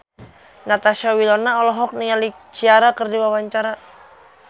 Natasha Wilona olohok ningali Ciara keur diwawancara